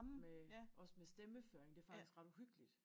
Med også med stemmeføring det faktisk ret uhyggeligt